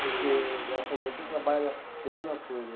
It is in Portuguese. Porque, ela falou, você trabalha semana toda.